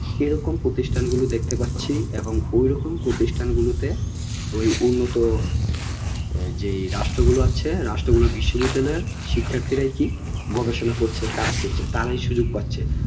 এরকম প্রতিষ্ঠান গুলো দেখতে পাচ্ছি এবং ওই রকম প্রতিষ্ঠান গুলোতে ওই উন্নত যে রাষ্ট্র গুল আছে রাষ্ট্র গুলোর বিশ্ব বিদ্যালয়ের শিক্ষার্থীরা কি গবেষণা করছে কাজ করছে তারাই সুযোগ পাচ্ছে